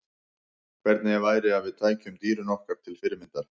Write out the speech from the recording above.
Hvernig væri að við tækjum dýrin okkur til fyrirmyndar?